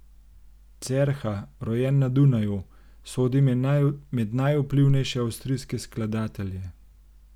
Cerha, rojen na Dunaju, sodi med najvplivnejše avstrijske skladatelje.